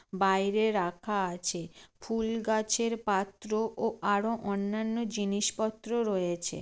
বাইরে রাখা আছে। ফুল গাছের পাত্র ও আরও অন্যান্য জিনিস পত্র রয়েছে।